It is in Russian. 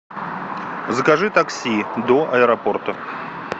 закажи такси до аэропорта